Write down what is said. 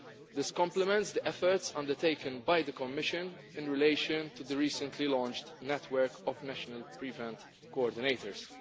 This complements the efforts undertaken by the Commission in relation to the recently launched network of national prevention coordinators.